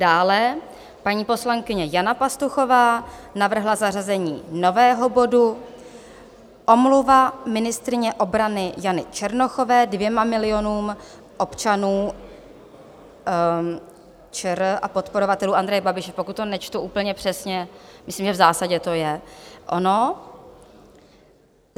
Dále paní poslankyně Jana Pastuchová navrhla zařazení nového bodu Omluva ministryně obrany Jany Černochové dvěma milionům občanů ČR a podporovatelů Andreje Babiše - pokud to nečtu úplně přesně, myslím, že v zásadě to je ono.